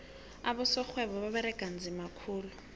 abosorhwebo baberega nzima khulu